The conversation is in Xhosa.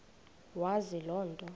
wazi loo nto